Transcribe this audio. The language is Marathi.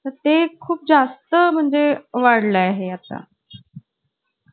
आणि मग ती झाली कि का गं, पाहिलीत असताना?